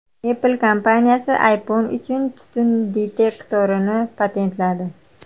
Apple kompaniyasi iPhone uchun tutun detektorini patentladi.